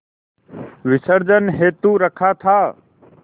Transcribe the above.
विसर्जन हेतु रखा था